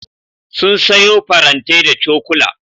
Sun sayo farantai da cokula.